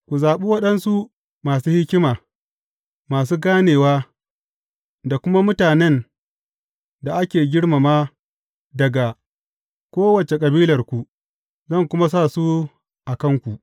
Ku zaɓi waɗansu masu hikima, masu ganewa, da kuma mutanen da ake girmama daga kowace kabilarku, zan kuma sa su a kanku.